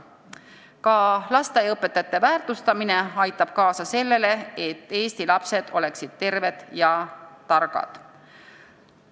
Ka lasteaiaõpetajate väärtustamine aitab kaasa sellele, et Eesti lapsed oleksid terved ja targad.